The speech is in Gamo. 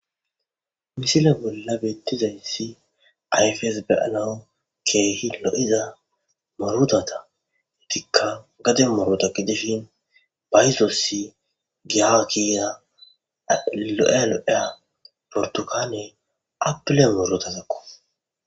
misila bolla beettizayssi ayfes beyanawu keehi lo7iza morodata hetikka gade morota gidishin bayzossi giakiya lo7ealo7eya portukaaney apile morotazakko